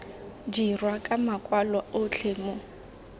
dirwa ka makwalo otlhe mo